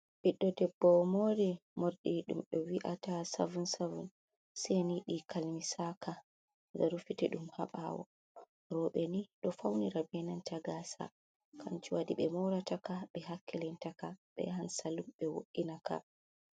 Ɓiddo debbo mori morɗi ɗum ɓe wi'ata savin-savin seni ɗi kalmisaka. Nga rufiti ɗum ha ɓawo. Roɓe ni ɗo faunira be nanta gasa kanjum waɗi ɓe morata ka, ɓe hakkilinta ka, ɓe yahan salun ɓe wo’ina ka.